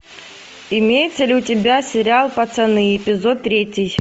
имеется ли у тебя сериал пацаны эпизод третий